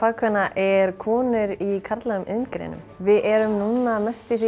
fagkvenna er konur í karllægum iðngreinum við erum núna mest í því